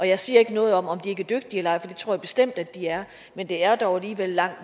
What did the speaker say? jeg siger ikke noget om at de ikke er dygtige nej for det tror jeg bestemt at de er men de er dog alligevel langt